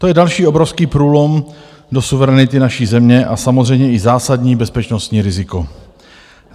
To je další obrovský průlom do suverenity naší země a samozřejmě i zásadní bezpečnostní riziko.